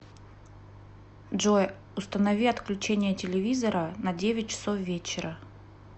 джой установи отключение телевизора на девять часов вечера